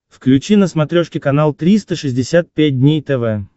включи на смотрешке канал триста шестьдесят пять дней тв